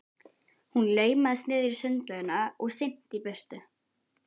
Hún laumaðist niður í sundlaugina og synti í burtu.